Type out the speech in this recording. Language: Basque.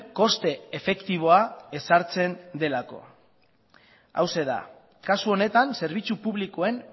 koste efektiboa ezartzen delako hauxe da kasu honetan zerbitzu publikoen